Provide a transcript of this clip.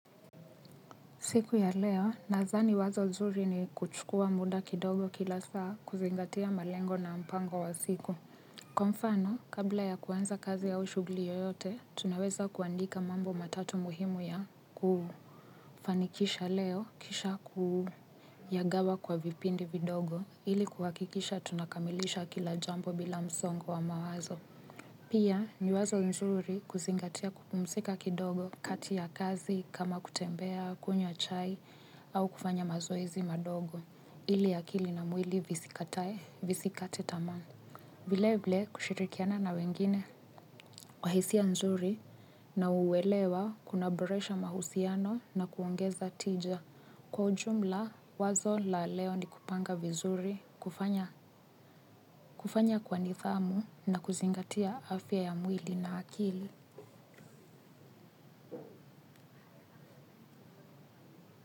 Siku ya leo, nadhani wazo nzuri ni kuchukuwa muda kidogo kila saa kuzingatia malengo na mpango wa siku. Kwa mfano, kabla ya kuanza kazi au shughuli yoyote, tunaweza kuandika mambo matatu muhimu ya ku. Fanikisha leo, kisha ku. Yagawa kwa vipindi vidogo ili kuhakikisha tunakamilisha kila jambo bila msongo wa mawazo. Pia ni wazo nzuri kuzingatia kupumsika kidogo kati ya kazi kama kutembea, kunywa chai au kufanya mazoezi madogo ili akili na mwili visikatae visikate tamaa. Vile vile kushirikiana na wengine kwa hisia nzuri na uwelewa kunaboresha mahusiano na kuongeza tija. Kwa ujumla wazo la leo ni kupanga vizuri, kufanya kwa nithamu na kuzingatia afya ya mwili na akili.